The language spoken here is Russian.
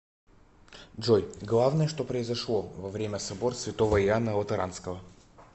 джой главное что произошло во время собор святого иоанна латеранского